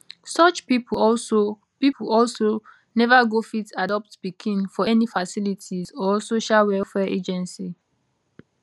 such pipo also pipo also neva go fit adopt pikin for any facility or social welfare agency